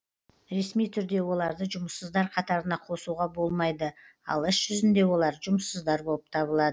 ресми түрде оларды жұмыссыздар қатарына қосуға болмайды ал іс жүзінде олар жұмыссыздар болып табылады